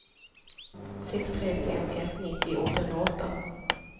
sex tre fem ett nittio åttahundraåtta